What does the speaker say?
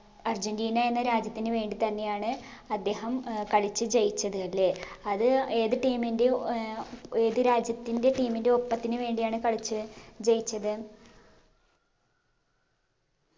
Argentina എന്ന രാജ്യത്തിന് വേണ്ടി തന്നെയാണ് അദ്ദേഹം ഏർ കളിച്ച് ജയിച്ചത് അല്ലേ അത് ഏത് team ൻറേം ഏർ ഏത് രാജ്യത്തിൻറെ team ൻറേ ഒപ്പത്തിന് വേണ്ടിയാണ് കളിച്ച് ജയിച്ചത്